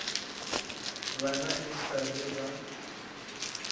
bana e sa le ba